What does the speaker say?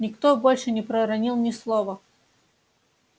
никто больше не проронил ни слова